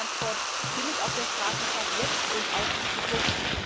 Ganz viel Transport findet auf der Straße statt jetzt und auch in Zukunft.